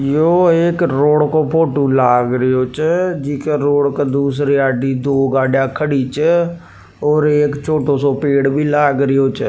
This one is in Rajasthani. यो एक रोड का फोटो का लाग रही छ जीके रोड की दूसरी अड़े दो गाड़िया खड़ी छ और दो छोटे पेड़ भी लाग रियो छ।